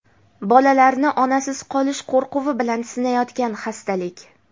bolalarni onasiz qolish qo‘rquvi bilan sinayotgan xastalik.